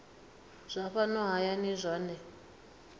zwa fhano hayani zwohe gdp